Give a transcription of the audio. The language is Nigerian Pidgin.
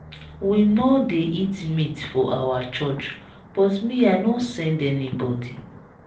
we no dey eat meat for our church but me i no send anybody.